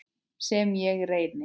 Sem ég reyni.